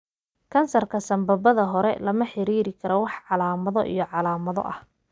Kansarka sambabada hore lama xiriirin karo wax calaamado iyo calaamado ah.